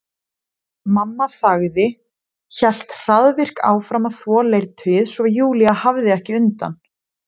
Mamma þagði, hélt hraðvirk áfram að þvo leirtauið svo Júlía hafði ekki undan.